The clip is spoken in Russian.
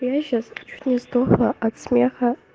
я сейчас чуть не сдохла от смеха